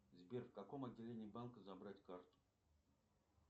сбер в каком отделении банка забрать карту